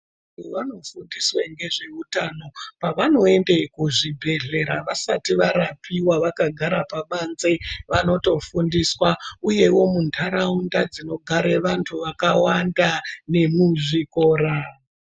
Vanthu vanofundiswe ngezve utano, pevanoende kuzvibhedhlera vasati varapiwa, vakagara pabanze, vanotofundiswa. Uyewo muntharaunda dzinogare vanthu vakawanda nemuzvikora.